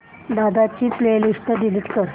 दादा ची playlist delete कर